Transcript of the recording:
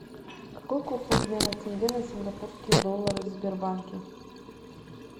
какой курс обмена тенге на сингапурские доллары в сбербанке